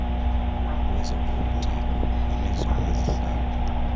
wezopolitiko onezona zihlalo